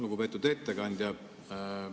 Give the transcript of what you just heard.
Lugupeetud ettekandja!